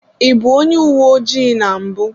I bụ onye uwe ojii na mbụ.